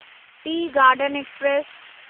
T garden express